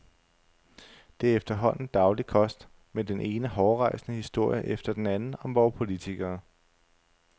Det er efterhånden daglig kost med den ene hårrejsende historie efter den anden om vore politikere.